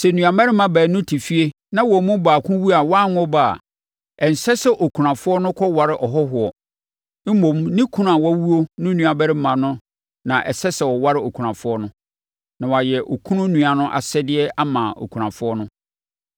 Sɛ nuammarima baanu te fie na wɔn mu baako wu a wanwo ɔba a, ɛnsɛ sɛ okunafoɔ no kɔware ɔhɔhoɔ. Mmom, ne kunu a wawuo no nuabarima na ɛsɛ sɛ ɔware okunafoɔ no, na wayɛ okunu nua asɛdeɛ ama okunafoɔ no.